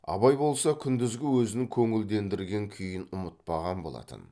абай болса күндізгі өзін көңілдендірген күйін ұмытпаған болатын